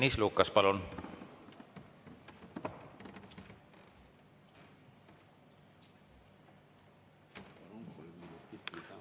Tõnis Lukas, palun!